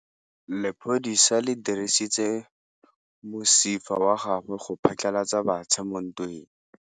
Lepodisa le dirisitse mosifa wa gagwe go phatlalatsa batšha mo ntweng.